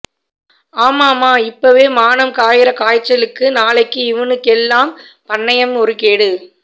ஆமாமா இப்பவே மானம் காயறகாய்ச்சலுக்கு நாளைக்கு இவனுக்கெல்லாம் பண்ணையம் ஒரு கேடு